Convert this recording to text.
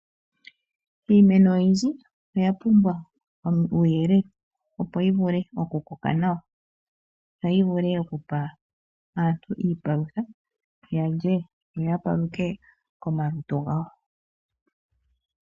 Iimeno oyindji oya pumbwa uuyelele, opo yi vule oku koka nawa, yo yi vule okupa aantu iipalutha, yalye yo ya paluthe omalutu gawo.